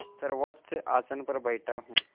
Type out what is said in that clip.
सर्वोच्च आसन पर बैठा हूँ